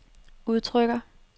udtrykker